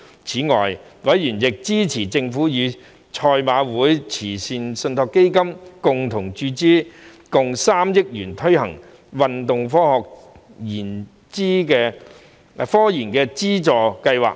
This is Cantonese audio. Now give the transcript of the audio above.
此外，委員亦支持政府與香港賽馬會慈善信託基金共同注資3億元推行運動科研資助計劃。